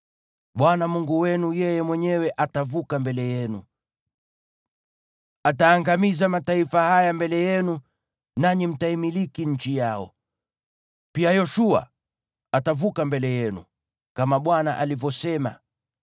Bwana Mungu wenu, yeye mwenyewe atavuka mbele yenu. Ataangamiza mataifa haya mbele yenu, nanyi mtaimiliki nchi yao. Pia Yoshua atavuka mbele yenu, kama Bwana alivyosema.